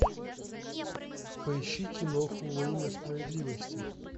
поищи киноху во имя справедливости